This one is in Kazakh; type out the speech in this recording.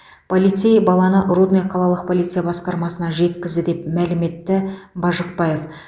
полицей баланы рудный қалалық полиция басқармасына жеткізді деп мәлім етті бажықбаев